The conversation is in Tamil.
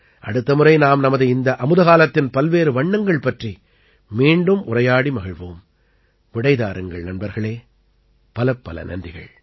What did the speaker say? அடுத்த முறை நாம் நமது இந்த அமுதகாலத்தின் பல்வேறு வண்ணங்கள் பற்றி மீண்டும் உரையாடி மகிழ்வோம் விடை தாருங்கள் நண்பர்களே பலப்பல நன்றிகள்